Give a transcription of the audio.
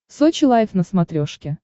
сочи лайф на смотрешке